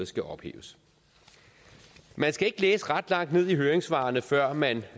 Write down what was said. skal ophæves man skal ikke læse ret langt ned i høringssvarene før man